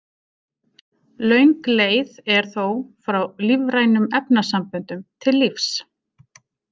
Löng leið er þó frá lífrænum efnasamböndum til lífs.